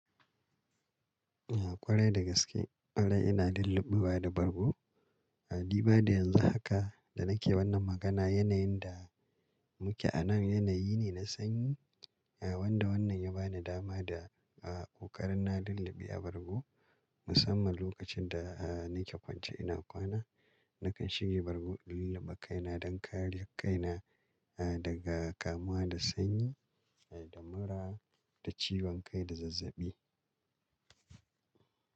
Kwarai da gaske, kwarai ina lulluɓuwa da bargo. A diba da yanzu haka da nake wannan magana, yanayin da muke anan yanayi ne na sanyi, wanda wannan ya bani dama da ƙokarina lulluɓe a bargo musamman lokacin da nake kwance ina kwana. Nakan shige bargo in lulluɓe kaina don kare kaina daga kamuwa da sanyi da mura da ciwon kai da zazzaɓi.